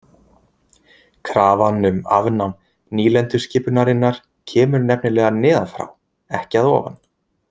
Krafan um afnám nýlenduskipunarinnar kemur nefnilega neðan frá ekki að ofan.